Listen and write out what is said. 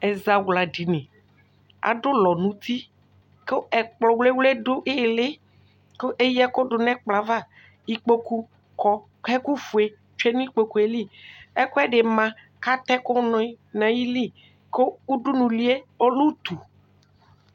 Ɛzawla dini adu ulɔ nu uti ku ɛkplɔ wle wle du ili ku eya ɛku du nu ɛkplɔ ava ikpoku kɔ ku ɛkufue tsue nu ikpokuli ɛkuɛdi ma kata ɛku du nayili ku udunulie ɔlɛ utu